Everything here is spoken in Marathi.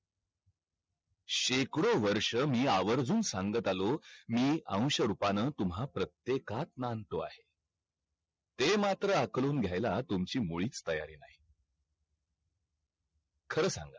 शेकडो वर्ष मी आवर्जून सांगत आलोय मी औंश रूपानं तुम्हा प्रत्येकात नांदतो आहे ते मात्र अकलून घ्यायला तुमची मुळीच तयारी नाही खर सांगा